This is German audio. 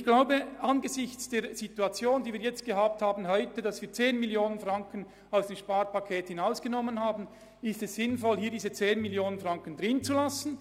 Ich denke, angesichts der Tatsache, dass wir 10 Mio. Franken aus dem Sparpaket entfernt haben, ist es sinnvoll, diese 10 Mio. Franken, über die wir jetzt gerade diskutieren, drin zu lassen.